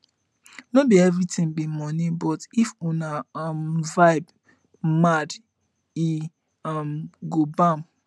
no bi everitin bi moni but if una um vibe mad e um go bam